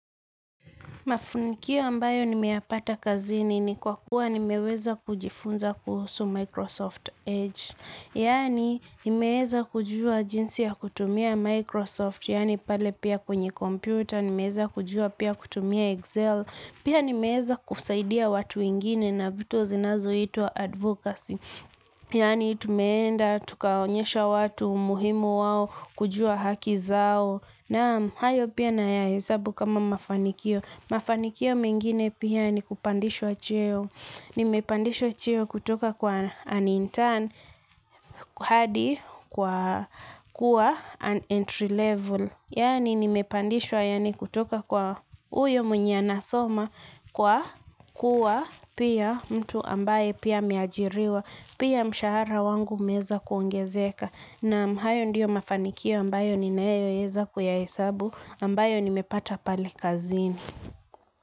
Mafanikio ambayo nimeyapata kazini ni kwa kuwa nimeweza kujifunza kuhusu Microsoft Edge. Yaani, nimeweza kujua jinsi ya kutumia Microsoft, yaani pale pia kwenye komputer, nimeweza kujua pia kutumia Excel, pia nimeweza kusaidia watu wengine na vitu zinazo itwa advocacy. Yaani, tumeenda, tukaonyesha watu, umuhimu wao, kujua haki zao. Naam hayo pia nayahesabu kama mafanikio. Mafanikio mengine pia ni kupandishwa cheo. Nimepandishwa cheo kutoka kwa an intern hadi kwa kuwa an entry level. Yani nimepandishwa yaani kutoka kwa huyo mwenye nasoma kwa kuwa pia mtu ambaye pia ameajiriwa. Pia mshahara wangu umeweza kuongezeka. Naam hayo ndiyo mafanikio ambayo ninayoweza kuyahesabu ambayo nimepata pale kazini.